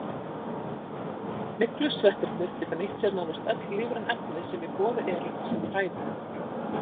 Myglusveppirnir geta nýtt sér nánast öll lífræn efni sem í boði eru sem fæðu.